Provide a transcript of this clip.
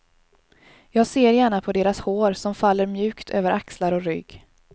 Jag ser gärna på deras hår som faller mjukt över axlar och rygg.